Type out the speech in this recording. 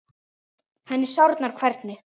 Henni sárnar hvernig